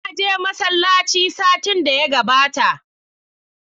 Na je masallaci satin da ya gabata.